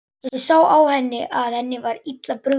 Ég sá á henni að henni var illa brugðið.